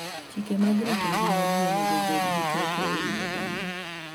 Chike mag rito ngima ji onego obed gi teko e wi oganda.